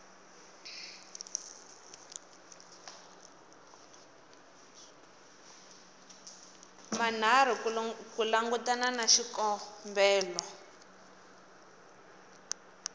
manharhu ku langutana na xikombelo